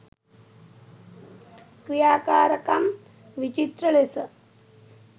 ක්‍රියාකාරකම් විචිත්‍ර ලෙස